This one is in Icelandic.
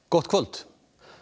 gott kvöld